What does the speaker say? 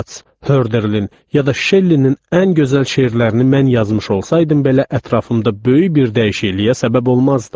Keats, Hörderlin ya da Şellinin ən gözəl şeirlərini mən yazmış olsaydım belə ətrafımda böyük bir dəyişikliyə səbəb olmazdım.